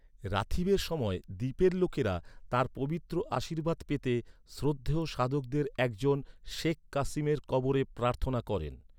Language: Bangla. রাথীবের সময় দ্বীপের লোকেরা, তাঁর পবিত্র আশীর্বাদ পেতে শ্রদ্ধেয় সাধকদের এক জন, শেখ কাসিমের কবরে প্রার্থনা করেন।